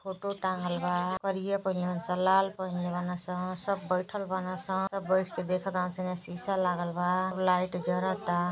Photo टांगल बा। करिया पहिनले बान सन लाल पहिनले बान सन। सब बइठल बान सन। सब बईठ के देखतान सन। एने सीसा लागल बा। सब लाइट जरता।